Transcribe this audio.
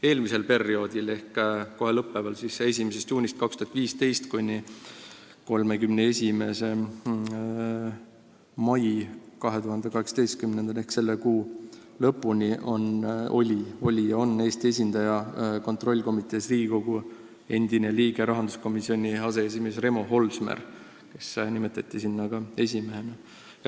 Eelmisel ehk kohe lõppeval perioodil, 1. juunist 2015 kuni 31. maini 2018 ehk selle kuu lõpuni, oli ja on Eesti esindaja kontrollkomitees Riigikogu endine liige, rahanduskomisjoni aseesimees Remo Holsmer, kes nimetati selle komitee liikmeks siis, kui ta oli rahanduskomisjoni esimees.